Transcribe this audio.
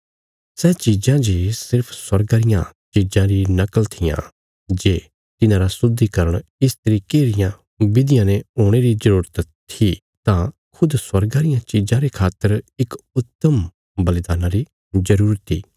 सै चीजां जे सिर्फ स्वर्गा रियां चीजां री नकल थिआं जे तिन्हारा शुद्धीकरण इस तरिके रियां विधियां ने हुणे री जरूरत थी तां खुद स्वर्गा रियां चिज़ां रे खातर इक उत्तम बलिदान्ना री जरूरत इ